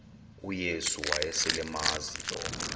uyesu wayeselemazi lo